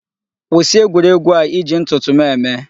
Kwụsị egwuregwu a iji ntụtụ m eme.